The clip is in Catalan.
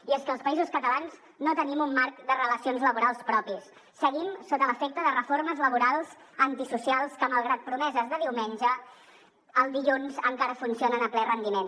i és que els països catalans no tenim un marc de relacions laborals propi seguim sota l’efecte de reformes laborals antisocials que malgrat promeses de diumenge el dilluns encara funcionen a ple rendiment